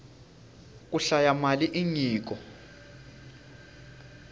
ku hlaya mali i nyiko